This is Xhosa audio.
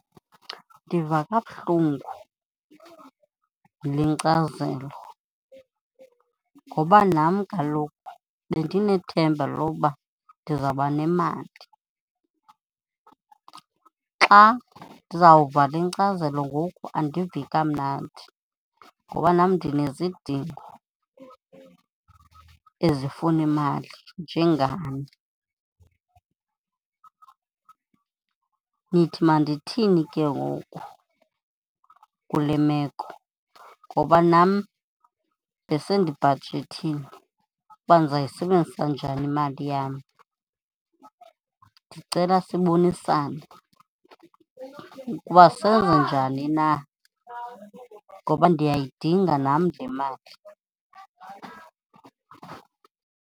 Ndiva kabuhlungu yile nkcazelo ngoba nam kaloku bendinethemba loba ndizawuba nemali. Xa ndizawuva le nkcazelo ngoku andivi kamnandi. Ngoba nam ndinezindingo ezifuna imali njengani. Nithi mandithini ke ngoku kule meko? Ngoba nam besendibhajethile uba ndizawuyisebenzisa njani imali yam. Ndicela sibonisane ukuba senze njani na ngoba ndiyayidinga nam le mali.